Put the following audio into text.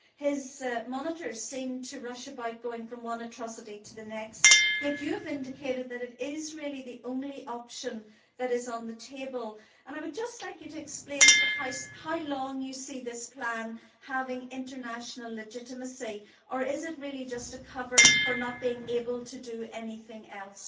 His monitors seem to rush about going from one atrocity to the next, yet Baroness Ashton has indicated that it is really the only option that is on the table. I would just like her to explain to the House how long she sees this plan having international legitimacy, or is it really just a cover for not being able to do anything else?